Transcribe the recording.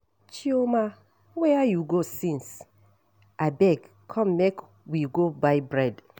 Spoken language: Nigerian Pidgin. Chioma where you go since? Abeg come make we go buy bread